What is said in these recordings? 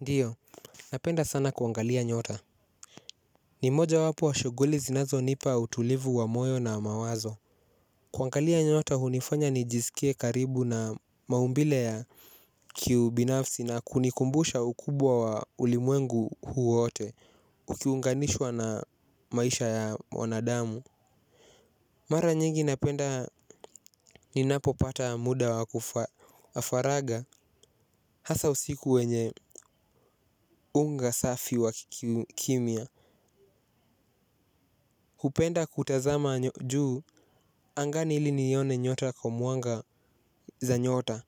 Ndiyo, napenda sana kuangalia nyota. Ni mojawapo wa shughuli zinazo nipa utulivu wa moyo na mawazo. Kuangalia nyota hunifanya nijisike karibu na maumbile ya kiubinafsi na kunikumbusha ukubwa wa ulimwengu huu wote. Ukiunganishwa na maisha ya wanadamu. Mara nyingi napenda ninapo pata muda wa faragha hasa usiku wenye unga safi wa kimya. Hupenda kutazama juu angani ili nione nyota kwa mwanga za nyota.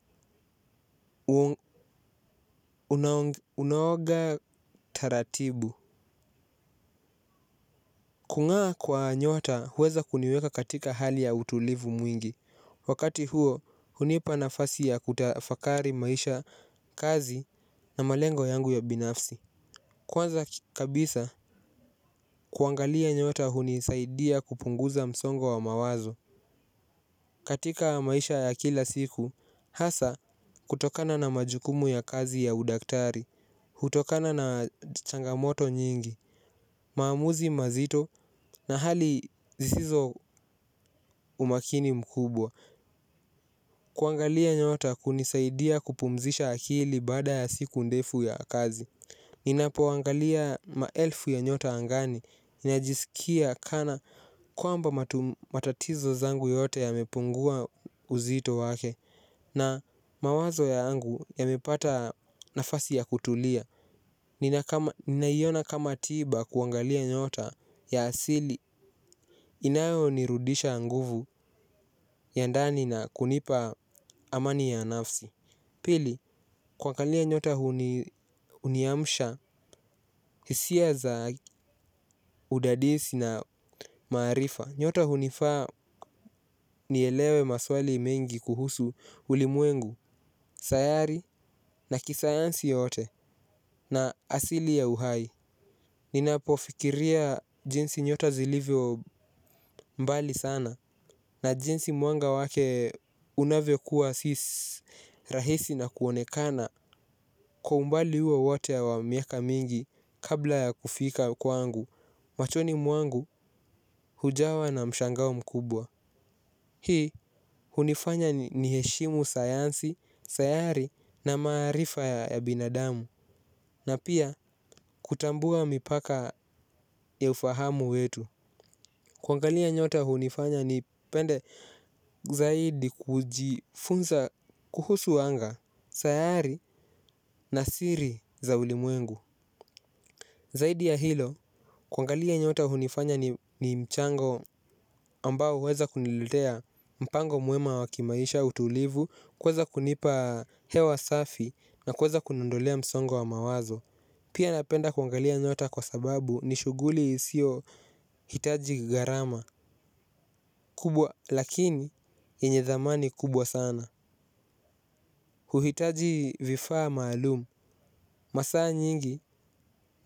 Unaoga taratibu. Kung'aa kwa nyota huweza kuniweka katika hali ya utulivu mwingi. Wakati huo hunipa nafasi ya kutafakari maisha kazi na malengo yangu ya binafsi. Kwanza kabisa kuangalia nyota hunisaidia kupunguza msongo wa mawazo. Katika maisha ya kila siku, hasa kutokana na majukumu ya kazi ya udaktari, hutokana na changamoto nyingi, maamuzi mazito na hali zisizo umakini mkubwa, kuangalia nyota hunisaidia kupumzisha akili baada ya siku ndefu ya kazi. Ninapoangalia maelfu ya nyota angani ninajisikia kana kwamba matatizo zangu yote yamepungua uzito wake. Na mawazo yangu yamepata nafasi ya kutulia. Ninaiona kama tiba kuangalia nyota ya asili inayo nirudisha nguvu ya ndani na kunipa amani ya nafsi. Pili, kuangalia nyota huniamsha, hisia za udadisi na maarifa. Nyota hunifaa nielewe maswali mingi kuhusu ulimwengu, sayari na kisayansi yote na asili ya uhai. Ninapo fikiria jinsi nyota zilivyo mbali sana na jinsi mwanga wake unavyokuwa si rahisi na kuonekana. Kwa umbali huo wate wa miaka mingi kabla ya kufika kwangu machoni mwangu hujawa na mshangao mkubwa. Hii hunifanya ni heshimu sayansi, sayari na marifa ya binadamu. Na pia kutambua mipaka ya ufahamu wetu. Kwangalia nyota hunifanya nipende zaidi kujifunza kuhusu wanga. Sayari na siri za ulimwengu. Zaidi ya hilo kuangalia nyota hunifanya ni mchango ambao huweza kuniletea mpango mwema wa kimaisha utulivu kuweza kunipa hewa safi na kuweza kuniondolea msongo wa mawazo. Pia napenda kuangalia nyota kwa sababu ni shughuli isio hitaji gharama kubwa lakini yenye thamani kubwa sana. Huhitaji vifaa malumu, masaa nyingi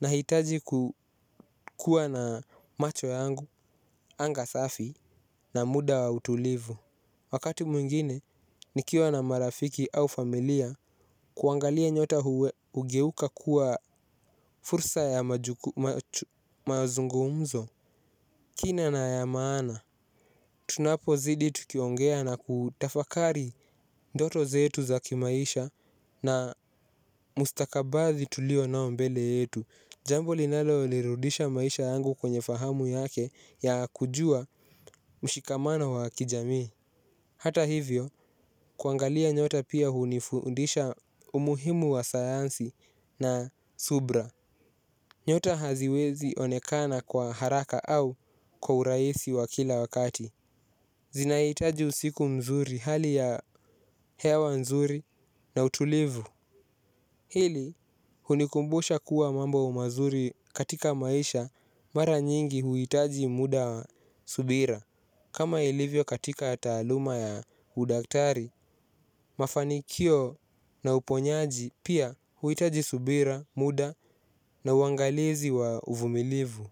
nahitaji kukua na macho yangu, anga safi na muda wa utulivu. Wakati mwingine, nikiwa na marafiki au familia kuangalia nyota hugeuka kuwa fursa ya mazungumzo kina na ya maana, tunapo zidi tukiongea na kutafakari ndoto zetu za kimaisha. Na mustakabali tulio nao mbele yetu. Jambo linalo lirudisha maisha yangu kwenye fahamu yake ya kujua mshikamano wa kijami. Hata hivyo, kuangalia nyota pia hunifundisha umuhimu wa sayansi na subira. Nyota haziwezi onekana kwa haraka au kwa urahisi wa kila wakati. Zinahitaji usiku mzuri hali ya hewa nzuri na utulivu. Hili hunikumbusha kuwa mambo mazuri katika maisha mara nyingi huhitaji muda wa subira. Kama ilivyo katika taaluma ya udaktari, mafanikio na uponyaji pia huhitaji subira, muda na uangalizi wa uvumilivu.